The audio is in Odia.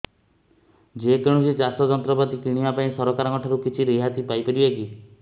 ଯେ କୌଣସି ଚାଷ ଯନ୍ତ୍ରପାତି କିଣିବା ପାଇଁ ସରକାରଙ୍କ ଠାରୁ କିଛି ରିହାତି ପାଇ ପାରିବା କି